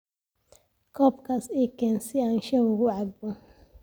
Koobkaas ii keen si aan shaaha ugu cabbo